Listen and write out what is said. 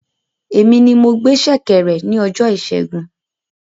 Èmi ní mo gbé ṣẹ̀kẹ̀rẹ̀ ní ọjọ ìsẹ́gun